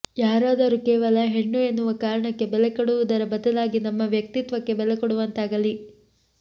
ಯಾರಾದರು ಕೇವಲ ಹೆಣ್ಣು ಎನ್ನುವ ಕಾರಣಕ್ಕೆ ಬೆಲೆ ಕೊಡುವುದರ ಬದಲಾಗಿ ನಮ್ಮ ವ್ಯಕ್ತಿತ್ವಕ್ಕೆ ಬೆಲೆ ಕೊಡುವಂತಾಗಲಿ